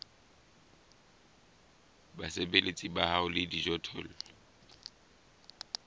basebeletsi ba hao le dijothollo